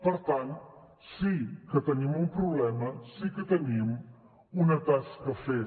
per tant sí que tenim un problema sí que tenim una tasca a fer